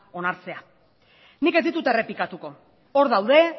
onartzea nik ez ditut errepikatuko hor daude